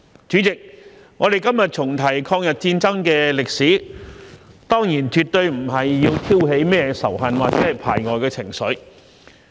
主席，我們今天重提抗日戰爭的歷史，當然絕對不是要挑起甚麼仇恨或排外的情緒。